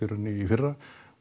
í fyrra